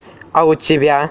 а у тебя